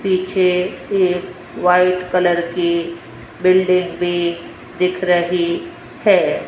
पीछे एक white colour की बिल्डिंग भी दिख रही है।